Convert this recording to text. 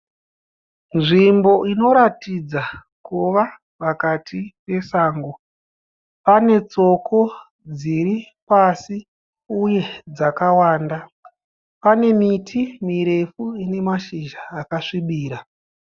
Nzvimbo inoratidza kuva pakati pesango. Pane tsoko dziri pasi uye dzakawanda. Pane miti mirefu ine mashizha akasvibira.